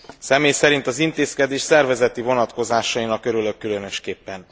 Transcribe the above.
Személy szerint az intézkedés szervezeti vonatkozásainak örülök különösképpen.